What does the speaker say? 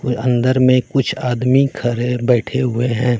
वो अंदर में कुछ आदमी खड़े बैठे हुए हैं।